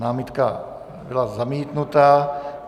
Námitka byla zamítnuta.